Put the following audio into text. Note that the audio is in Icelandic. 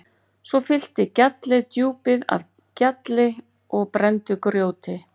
Svo fyllti gjallið djúpið af gjalli og brenndu grjóti.